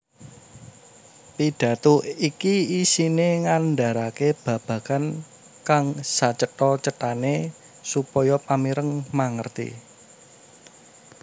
Pidhato iki isiné ngandharake babagan kang sacetha cethané supaya pamireng mangerti